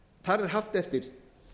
þar er haft eftir